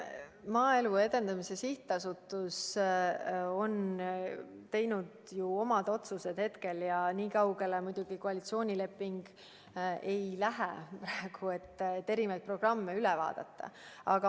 Maaelu Edendamise Sihtasutus on ju omad otsused teinud ja nii kaugele muidugi koalitsioonileping ei lähe, et praegu erinevaid programme üle vaadata.